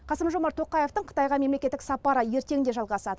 қасым жомарт тоқаевтың қытайға мемлекеттік сапары ертең де жалғасады